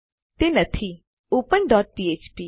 open dot ફ્ફ્પ open dot PHP